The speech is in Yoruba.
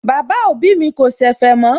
Bàbá òbí mi kò ṣẹ̀fẹ̀ mọ́